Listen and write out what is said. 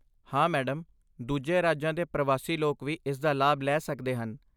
ਹਾਂ ਮੈਡਮ, ਦੂਜੇ ਰਾਜਾਂ ਦੇ ਪ੍ਰਵਾਸੀ ਲੋਕ ਵੀ ਇਸ ਦਾ ਲਾਭ ਲੈ ਸਕਦੇ ਹਨ।